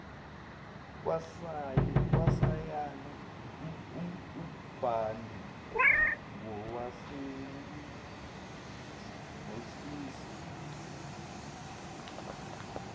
kwasayena ugadwe ngowesilisa